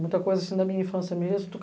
Muita coisa assim da minha infância mesmo.